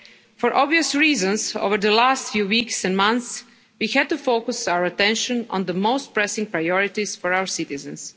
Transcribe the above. For obvious reasons over the last few weeks and months, we had to focus our attention on the most pressing priorities for our citizens